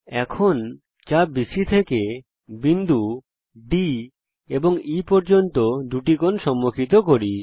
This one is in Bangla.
এখন চাপ বিসি থেকে বিন্দু D এবং E পর্যন্ত দুটি কোণ সম্মুখিত করি